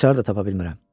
Açarı da tapa bilmirəm.